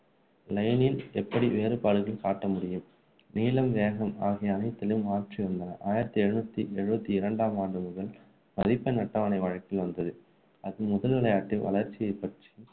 line இல் எப்படி வேறுபாடுகள் காட்ட முடியும் நீளம் வேகம் ஆகிய அனைத்திலும் மாற்றி உள்ளனர் ஆயிரத்து எழுபத்து எழுபத்து இரண்டாம் ஆண்டு முதல் மதிப்பெண் அட்டவணை வழக்கில் வந்தது அது முதல் விளையாட்டு வளர்ச்சியைப்பற்றி